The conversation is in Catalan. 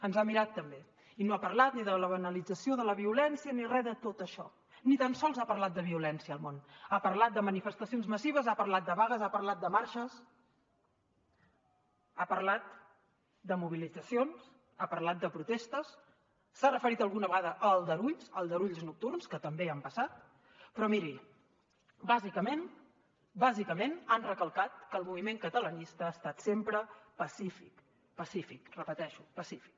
ens ha mirat també i no ha parlat ni de la banalització de la violència ni re de tot això ni tan sols ha parlat de violència el món ha parlat de manifestacions massives ha parlat de vagues ha parlat de marxes ha parlat de mobilitzacions ha parlat de protestes s’ha referit alguna vegada a aldarulls a aldarulls nocturns que també han passat però miri bàsicament han recalcat que el moviment catalanista ha estat sempre pacífic pacífic ho repeteixo pacífic